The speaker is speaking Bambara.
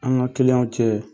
An ka kiliyanw cɛ.